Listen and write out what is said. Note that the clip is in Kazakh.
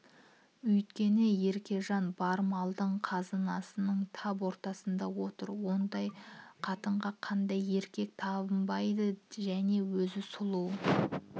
өйткені еркежан бар малдың қазынаның тап ортасында отыр ондай қатынға қандай еркек табынбайды және өзі сұлу